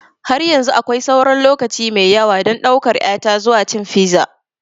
Har yanzu akwai sauran lokaci mai yawa don ɗaukar ƴata zuwa cin fiza.